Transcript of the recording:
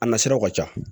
A na siraw ka ca